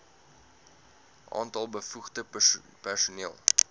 aantal bevoegde personeel